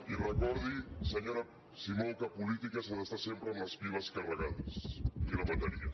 i recordi senyora simó que a política s’ha d’estar sempre amb les piles carregades i la bateria